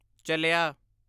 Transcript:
ਚਲਿਆ